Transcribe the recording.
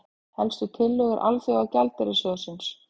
Helstu tillögur Alþjóðagjaldeyrissjóðsins